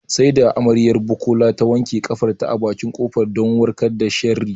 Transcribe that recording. Sai da amaryar Bukola ta wanke ƙafarta a bakin ƙofa don kawar da sharri